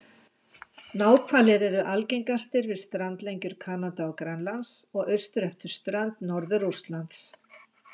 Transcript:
Náhvalir eru algengastir við strandlengjur Kanada og Grænlands og austur eftir strönd Norður-Rússlands.